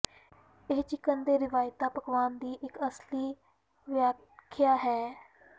ਇਹ ਚਿਕਨ ਦੇ ਰਵਾਇਤੀ ਪਕਵਾਨ ਦੀ ਇੱਕ ਅਸਲੀ ਵਿਆਖਿਆ ਹੈ